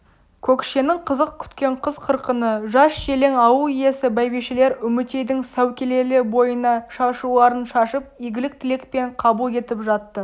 көкшенің қызық күткен қыз-қырқыны жас-желең ауыл иесі бәйбішелер үмітейдің сәукелелі бойына шашуларын шашып игілік тілекпен қабыл етіп жатты